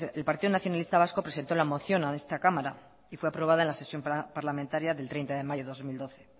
que el partido nacionalista vasco presentó la moción a esta cámara y fue aprobada en la sesión parlamentaria del treinta de mayo dos mil doce